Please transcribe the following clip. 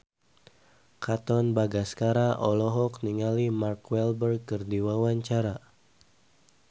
Katon Bagaskara olohok ningali Mark Walberg keur diwawancara